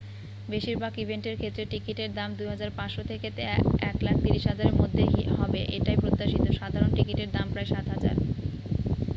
বেশিরভাগ ইভেন্টের ক্ষেত্রে টিকিটের দাম ¥2,500 থেকে ¥130,000 এর মধ্যে হবে এটাই প্রত্যাশিত সাধারণ টিকিটের দাম প্রায় ¥7,000